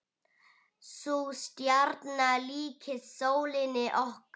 Sú stjarna líkist sólinni okkar.